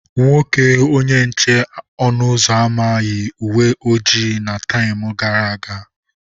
Nwoke onye nche ọnụ ụzọ ámá yi uwe ojii na tam gara aga.